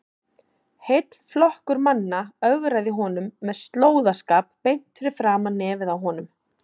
Heill flokkur manna ögraði honum með slóðaskap beint fyrir framan nefið á honum!